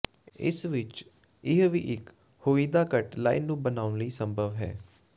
ਇਸ ਵਿਚ ਇਹ ਵੀ ਇੱਕ ਹੋਈਦਾ ਕੱਟ ਲਾਈਨ ਨੂੰ ਬਣਾਉਣ ਲਈ ਸੰਭਵ ਹੈ